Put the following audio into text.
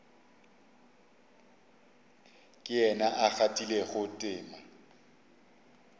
ke yena a kgathilego tema